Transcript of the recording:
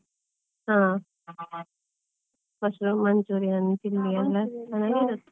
ಹಾ, mushroom manchurian .